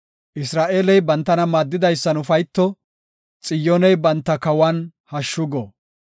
Isra7eeley bantana medhidaysan ufayto; Xiyooney banta kawan hashshu go.